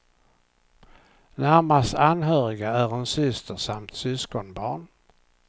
Närmast anhöriga är en syster samt syskonbarn.